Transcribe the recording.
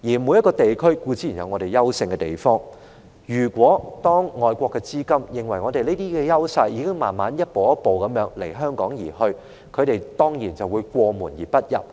每個地區固然都有各自優勝的地方，而如果外國的資金認為香港的優勢已逐步消失，那他們當然會過門而不入。